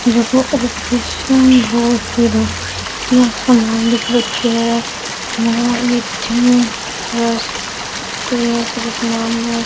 यह सामान दिख रखे है और इथे --